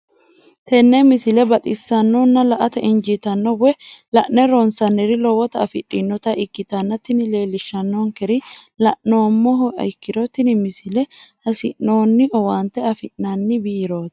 tenne misile baxisannonna la"ate injiitanno woy la'ne ronsannire lowote afidhinota ikkitanna tini leellishshannonkeri la'nummoha ikkiro tini misile hasi'noonni owaante afi'nanni biirooti.